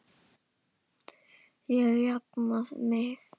Ég jafna mig.